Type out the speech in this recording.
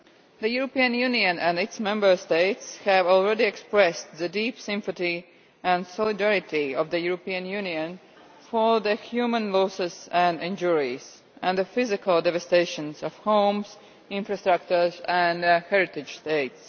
The European Union and its Member States have already expressed the deep sympathy and solidarity of the European Union for the human losses and injuries, and the physical devastation of homes, infrastructure and heritage sites.